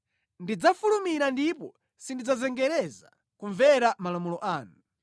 Ndidzafulumira ndipo sindidzazengereza kumvera malamulo anu.